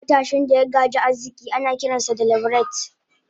matashin daya gaji arziki anakiransa da "leveret"